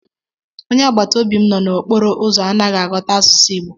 Onye agbata obi m nọ n’okporo ụzọ anaghị aghọta asụsụ Igbo.